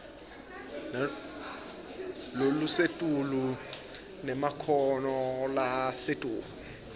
lolusetulu nemakhono lasetulu